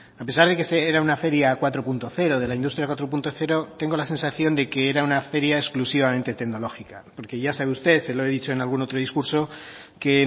a pesar de que era una feria cuatro punto cero de la industria cuatro punto cero tengo la sensación de que era una feria exclusivamente tecnológica porque ya sabe usted se lo he dicho en algún otro discurso que